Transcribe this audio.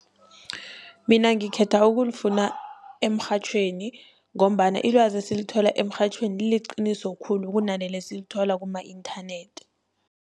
Mina ngikhetha ukulifuna emrhatjhweni, ngombana ilwazi esilithola emrhatjhweni liliqiniso khulu kunaleli esilithola kuma-inthanethi.